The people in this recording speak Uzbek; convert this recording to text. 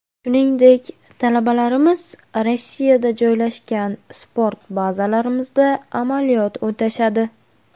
Shuningdek, talabalarimiz Rossiyada joylashgan sport bazalarimizda amaliyot o‘tashadi.